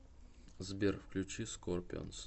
сбер включи скорпионс